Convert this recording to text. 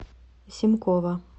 семкова